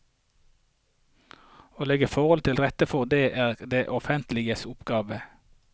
Å legge forholdene til rette for dette er det offentliges oppgave.